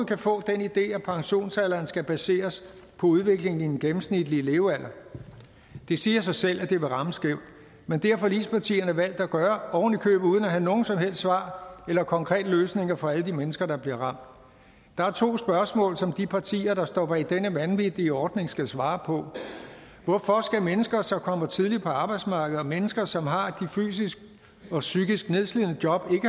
kan få den idé at pensionsalderen skal baseres på udviklingen i den gennemsnitlige levealder det siger sig selv at det vil ramme skævt men det har forligspartierne valgt at gøre ovenikøbet uden at have nogen som helst svar eller konkrete løsninger for alle de mennesker der bliver ramt der er to spørgsmål som de partier der står bag denne vanvittige ordning skal svare på hvorfor skal mennesker som kommer tidligt på arbejdsmarkedet mennesker som har de fysisk og psykisk nedslidende jobs ikke